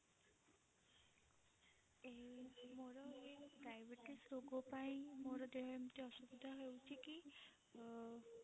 ଏଇ ମୋର ଏଇ diabetes ରୋଗ ପାଇଁ ମୋର ଦେହ ଏମିତି ଅସୁସ୍ଥ ହେଉଛି କି ଅ